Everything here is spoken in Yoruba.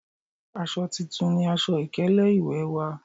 Aṣọ titun ni aṣọ ìkélé ìwè wa,